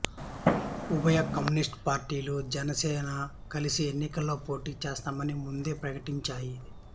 ఉభయ కమ్యూనిస్టు పార్టీలు జనసేన కలిసి ఎన్నికల్లో పోటీ చేస్తామని ముందే ప్రకటించాయి